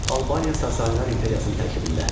Albaniya Sasani İmperiyasının tərkibində.